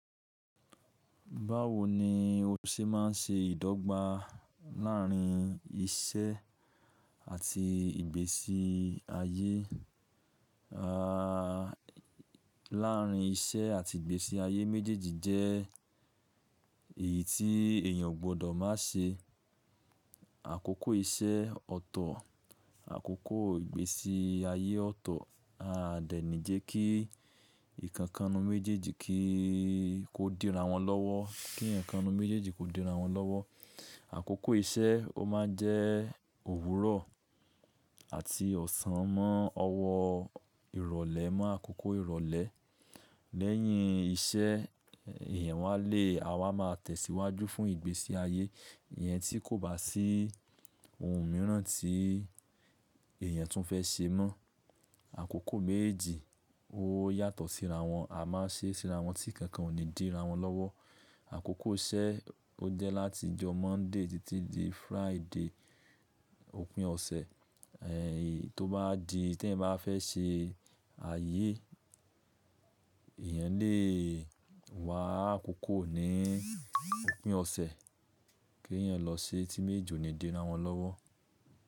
Báwo ni o ṣe má ń ṣe ìdọ́gba láàrín iṣẹ́ àti ìgbésí ayé? À, láàrín iṣẹ́ àti ìgbésí ayé méjèèjì jẹ́ èyí tí èèyàn ò gbọdọ̀ má ṣe. Àkókò iṣẹ́ ọ̀tọ̀, àkókò ìgbésí ayé ọ̀tọ̀. Àdé nì jẹ́ kí ǹkan kan nínú méjèèjì kí i ó díra wọn lọ́wọ́, kí ǹkankan nínú méjèèjì kó díra wọn lọ́wọ́. Àkókò iṣẹ́ o máa jẹ́ òwúrọ̀ àti ọ̀sán mọ́ ọwọ ìrọ̀lẹ́ mọ́ àkókò ìrọ̀lẹ́. À dé nì jẹ́ kí ǹkan kan nínú méjèèjì kí i dí ra wọn lọ́wọ́, kí ǹkan méjèèjì kó díra wọn lọ́wọ́. Àkókò méjì ó yàtọ̀ síra wọn, a máa ṣe síra wọn tí kankan ò ní díra wọn lọ́wọ́. Àkókò iṣẹ́ ó jẹ́ láti ọjọ́ monday títí di Friday, òpin ọ̀sẹ̀ ee tó bá di, tí èèyàn bá fẹ́ ṣe ayé èèyàn lè wá àkókò ní òpin ọ̀sẹ̀ kí èèyàn lọ ṣe tí meejeji oni díra wọn lọ́wọ́.